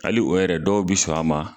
Hali o yɛrɛ dɔw bɛ sɔn a ma,